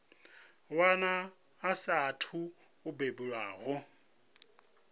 wana a saathu u bebiwaho